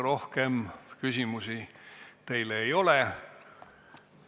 Rohkem küsimusi teile ei ole.